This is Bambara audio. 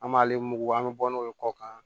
An b'ale mugu bɔ an mɛ bɔ n'o ye kɔ kan